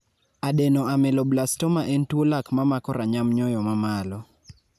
Adenoameloblastoma en tuo lak mamako ranyam nyoyo mamalo